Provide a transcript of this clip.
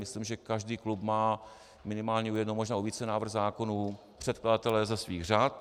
Myslím, že každý klub má minimálně u jednoho, možná u více návrhů zákonů předkladatele ze svých řad.